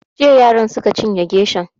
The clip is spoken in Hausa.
Jiya yaran suka cinye geshan